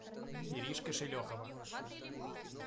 иришка шелехова